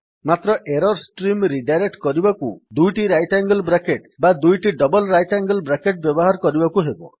ମାତ୍ର error stream redirect କରିବାକୁ 2ଟି ରାଇଟ୍ ଆଙ୍ଗେଲ୍ ବ୍ରାକେଟ୍ ବା 2ଟି ଡବଲ୍ ରାଇଟ୍ ଆଙ୍ଗେଲ୍ ବ୍ରାକେଟ୍ ବ୍ୟବହାର କରିବାକୁ ହେବ